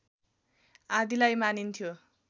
आदिलाई मानिन्थ्यो